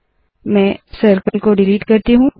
मैं सर्कल को डिलीट करती हूँ